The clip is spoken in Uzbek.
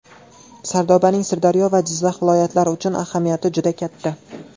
Sardobaning Sirdaryo va Jizzax viloyatlari uchun ahamiyati juda katta.